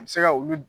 A bɛ se ka olu